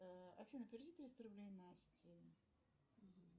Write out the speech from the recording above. афина переведи триста рублей насте